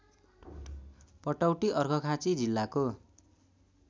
पटौटी अर्घाखाँची जिल्लाको